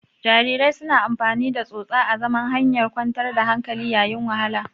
Jarirai suna amfani da tsotsa azaman hanyar kwantar da hankali yayin wahala.